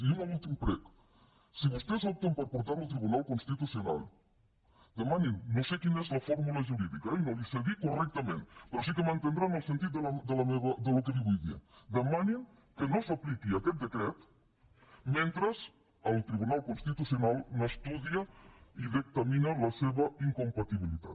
i un últim prec si vostès opten per portar lo al tribunal constitucional no sé quina és la fórmula jurídica eh i no li ho sé dir correctament però sí que m’entendrà el sentit del que li vull dir demanin que no s’apliqui aquest decret mentre el tribunal constitucional n’estudia i dictamina la incompatibilitat